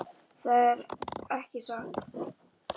Það er ekki satt.